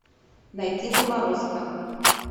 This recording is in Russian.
найти заморозка